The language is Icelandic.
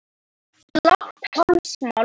Blátt hálsmál og